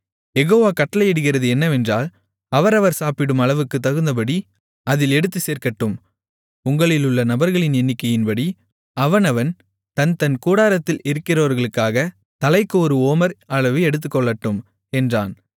யெகோவா கட்டளையிடுகிறது என்னவென்றால் அவரவர் சாப்பிடும் அளவுக்குத் தகுந்தபடி அதில் எடுத்துச் சேர்க்கட்டும் உங்களிலுள்ள நபர்களின் எண்ணிக்கையின்படி அவனவன் தன் தன் கூடாரத்தில் இருக்கிறவர்களுக்காக தலைக்கு ஒரு ஓமர் அளவு எடுத்துக்கொள்ளட்டும் என்றான்